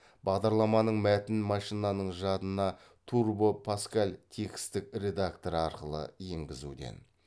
бағдарламаның мәтінін машинаның жадына турбо паскаль текстік редакторы арқылы енгізуден